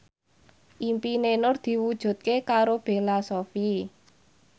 impine Nur diwujudke karo Bella Shofie